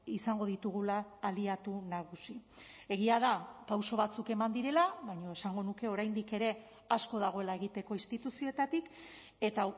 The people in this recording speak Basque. izango ditugula aliatu nagusi egia da pauso batzuk eman direla baina esango nuke oraindik ere asko dagoela egiteko instituzioetatik eta